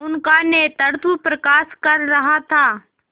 उनका नेतृत्व प्रकाश कर रहा था